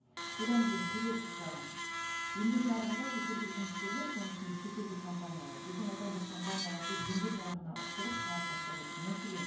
содан кейін келесі сұрағым еңбек нарығында шетелдік жұмыскерлер соның ішінде шетелдік компаниялар біздің отандық компанияларды еңбек нарығына ысырып шығарып тастап отыр мәселен